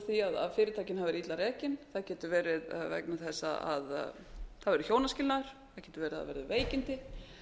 því að fyrirtækin hafi verið illa rekin það getur verið vegna þess að það hafi verið hjónaskilnaður það getur verið að það hafi verið veikindi